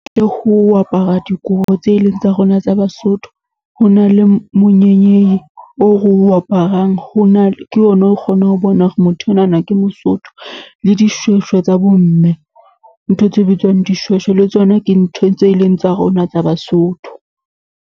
Le ho apara dikobo tse eleng tsa rona tsa Basotho. Ho na le monyenyei o re o aparang ho na, ke ona o kgonang ho bona hore motho onana ke Mosotho le dishweshwe tsa bo mme. Ntho tse bitswang dishweshwe le tsona ke ntho tse leng tsa rona tsa Basotho.